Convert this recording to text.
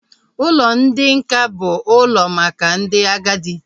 Ụlọ ndị nká bụ ụlọ maka ndị agadi